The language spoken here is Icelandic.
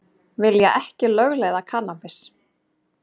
Vilja ekki lögleiða kannabis